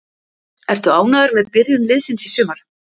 Ertu ánægður með byrjun liðsins í sumar?